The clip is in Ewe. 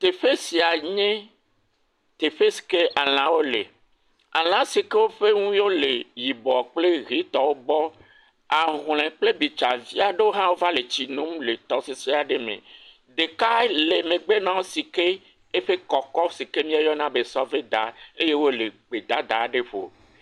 Teƒe sia nye teƒe si ke alãwo le. Alã si ke eƒe ŋui le yibɔ kple ʋetɔwo gbɔ. Ahlɔ̃e kple bitsavi aɖewo hã va le tsi nom le tɔsisi aɖe me. Ɖeka le megbe na wo si ke eƒe kɔkɔ si míeyɔna be sɔveda eye wole gbedada aɖe ƒo.